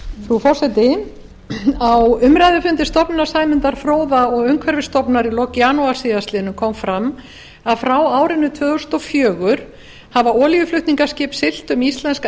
frú forseti á umræðufundi stofnunar sæmundar fróða og umhverfisstofnunar í lok janúar síðastliðnum kom fram að frá árinu tvö þúsund og fjögur hafa olíuflutningaskip siglt um íslenska